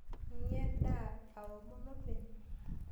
Anyaa endaa o aomon openy.